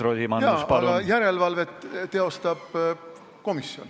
Jaa, aga järelevalvet teostab Riigikogu komisjon.